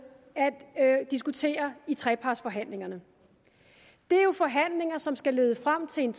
at diskutere i trepartsforhandlingerne det er forhandlinger som skal lede frem til en